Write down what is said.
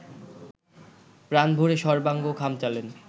প্রাণভরে সর্বাঙ্গ খামচালেন